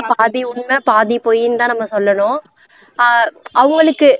பாதி உண்மை பாதி பொய்னுதான் நம்ம சொல்லணும் ஆஹ் அவுங்களுக்கு